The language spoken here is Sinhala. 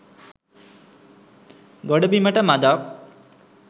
ගොඩබිමට මඳක්